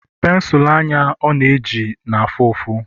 pensụl anya ọ na-eji na-afụ ụfụ